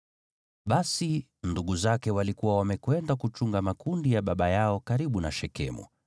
Basi, ndugu zake walikuwa wamekwenda kuchunga makundi ya baba yao karibu na Shekemu,